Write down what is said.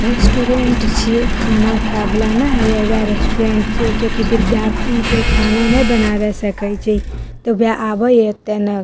restaurant छीये खाना खाय वाला ने होय उहे रेस्टोरेंट छीये किया की विद्यार्थी ते खाना नेए बनावे सकय छै ते वेह आवे ये एते नेए --